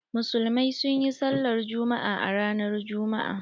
Musulmai sun yi sallar Juma'a a ranar Juma'a.